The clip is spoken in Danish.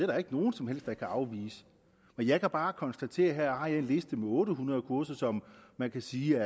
der ikke nogen som helst der kan afvise men jeg kan bare konstatere at jeg her har en liste med otte hundrede kurser som man kan sige